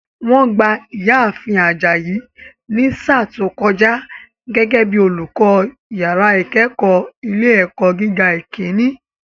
Wọ́n gba ìyá ààfin Ajayi ní sáà tó kọjá gẹ́gẹ́ bíi olùkọ́ yàrá ìkẹ́kọ̀ọ́ ilé ẹ̀kọ́ gíga ìkíní